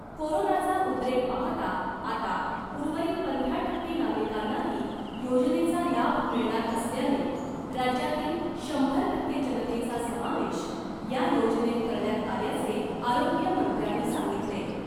कोरोनाचा उद्रेक पाहता आता उर्वरित पंधरा टक्के नागरिकांनाही योजनेचा लाभ मिळणार असल्याने राज्यातील शंभर टक्के जनतेचा समावेश या योजनेत करण्यात आल्याचे आरोग्यमंत्र्यांनी सांगितले .